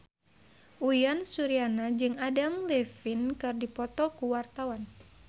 Uyan Suryana jeung Adam Levine keur dipoto ku wartawan